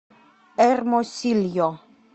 эрмосильо